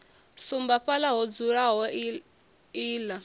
sumba fhaḽa ho dzulaho iḽla